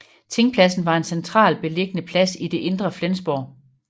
Tingpladsen var en central beliggende plads i det indre Flensborg